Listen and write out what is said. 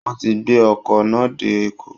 Wọ́n ti gbé ọkọ̀ náà dé Èkó